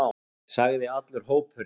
sagði allur hópurinn.